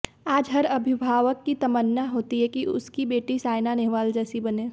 आज हर अभिभावक की तमन्ना होती है कि उसकी बेटी सायना नेहवाल जैसी बने